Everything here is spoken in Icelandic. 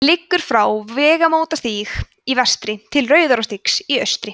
liggur frá vegamótastíg í vestri til rauðarárstígs í austri